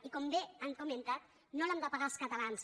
i com bé han comentat no l’hem de pagar els catalans